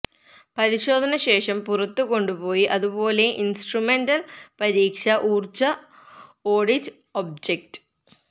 പരിശോധന ശേഷം പുറത്തു കൊണ്ടുപോയി അതുപോലെ ഇൻസ്ട്രുമെന്റൽ പരീക്ഷ ഊർജ്ജ ഓഡിറ്റ് ഒബ്ജക്റ്റ്